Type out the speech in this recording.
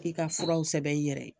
I ka furaw sɛbɛn i yɛrɛ ye.